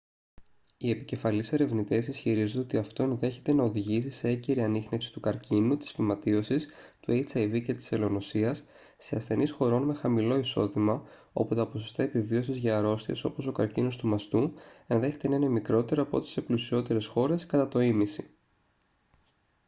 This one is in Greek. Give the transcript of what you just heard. οι επικεφαλής ερευνητές ισχυρίζονται ότι αυτό ενδέχεται να οδηγήσει σε έγκαιρη ανίχνευση του καρκίνου της φυματίωσης του hiv και της ελονοσίας σε ασθενείς χωρών με χαμηλό εισόδημα όπου τα ποσοστά επιβίωσης για αρρώστιες όπως ο καρκίνος του μαστού ενδέχεται να είναι μικρότερα από ό,τι σε πλουσιότερες χώρες κατά το ήμισυ